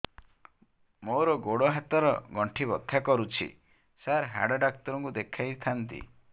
ମୋର ଗୋଡ ହାତ ର ଗଣ୍ଠି ବଥା କରୁଛି ସାର ହାଡ଼ ଡାକ୍ତର ଙ୍କୁ ଦେଖାଇ ଥାନ୍ତି